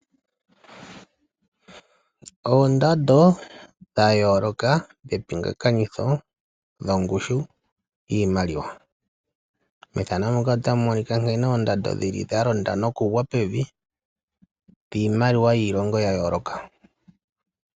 Oondando dha yooloka dhe pinga kanitho lyo ngushu yiimaliwa. Methano muka otamu monika nkene oondando dhili dha londa no ku gwa pevi, dhiimaliwa yiilongo ya yooloka.